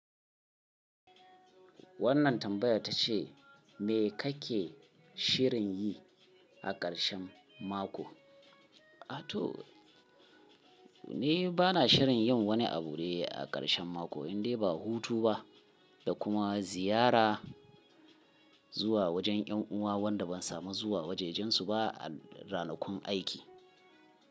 Wannan tambayar ta ce, “Me kake shirin yi a ƙarshen mako?” A to ni bana shirin yin wani abu dai a ƙarshen mako, indai ba hutu ba da kuma ziyara zuwa wajen 'yan uwa wanda ban samu zuwa wajajensu ba a ranakun aiki.